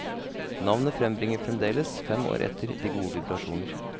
Navnet frembringer fremdeles, fem år etter, de gode vibrasjoner.